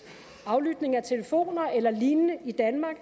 aflytning af telefoner eller lignende i danmark